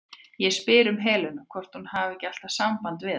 Ég spyr um Helenu, hvort hún hafi ekki alltaf samband við hana?